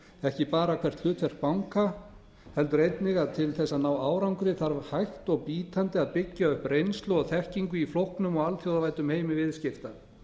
ekki bara hvert hlutverk banka heldur einnig að til þess að ná árangri þarf hægt og bítandi að byggja upp reynslu og þekkingu í flóknum og alþjóðavæddum heimi viðskipta